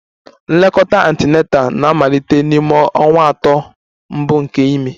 Nlekọta Antenatal na-amalite n'ime ọnwa atọ mbụ nke ime